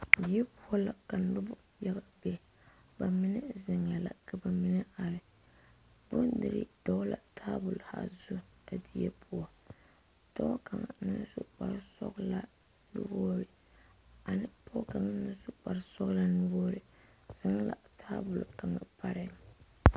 Yiri poɔ la ka noba yaga be bamine zeŋe la ka bamine are bondire dɔgle la tabol haazu a die poɔ dɔɔ kaŋa naŋ su kpare sɔglaa nuwogre ane pɔge kaŋa meŋ naŋ su kpare sɔglaa nuwogre zeŋ la tabol kaŋ pare.